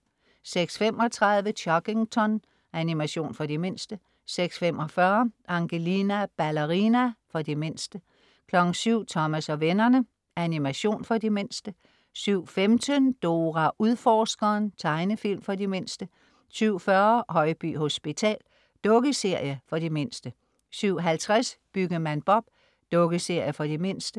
06.35 Chuggington. Animation for de mindste 06.45 Angelina Ballerina. For de mindste 07.00 Thomas og vennerne. Animation for de mindste 07.15 Dora Udforskeren. Tegnefilm for de mindste 07.40 Højby Hospital. Dukkeserie for de mindste 07.50 Byggemand Bob. Dukkeserie for de mindste